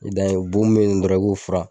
I dan ye boo min be yen dɔrɔn i b'o furan